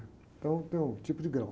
Então tem um tipo de grau.